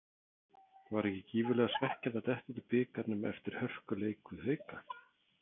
Var ekki gífurlega svekkjandi að detta út úr bikarnum eftir hörkuleik við Hauka?